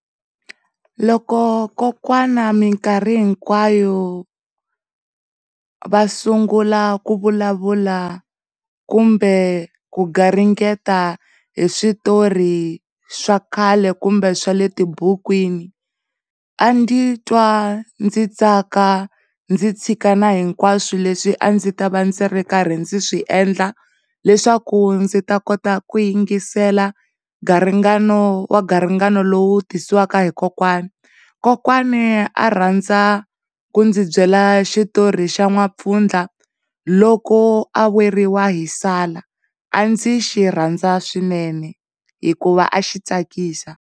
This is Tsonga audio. Loko kokwana mikarhi hinkwayo va sungula ku vulavula kumbe ku garingeta hi switori swa khale kumbe swa le tibukwini a ndzi twa ndzi tsaka ndzi tshika na hinkwaswo leswi a ndzi ta va ndzi swi endla leswaku ndzi ta kota ku yingisela ngaringana wa ngaringana lowu tisiwaka hi kokwani, kokwani a rhandza ku ndzi byela xitori xa N'wampfundla loko a weriwa hi sala, a ndzi xi rhandza swinene hikuva a xi tsakisa.